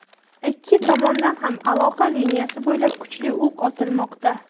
Ikki tomondan ham aloqa liniyasi bo‘ylab kuchli o‘q otilmoqda.